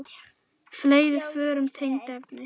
Fleiri svör um tengd efni